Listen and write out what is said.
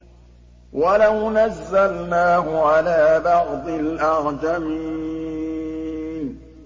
وَلَوْ نَزَّلْنَاهُ عَلَىٰ بَعْضِ الْأَعْجَمِينَ